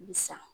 Sa